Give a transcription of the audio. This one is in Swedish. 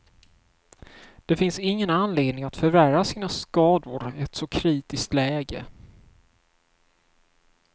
Det finns ingen anledning att förvärra sina skador i ett så kritiskt läge.